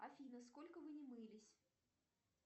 афина сколько вы не мылись